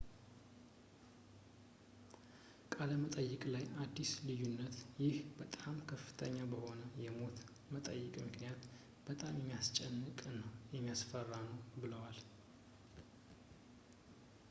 በቃለ መጠይቅ ላይ አዲሱ ልዩነት ይህ በጣም ከፍተኛ በሆነ የሞት መጠን ምክንያት በጣም የሚያስጨንቅ እና የሚያስፈራ ነው ብለዋል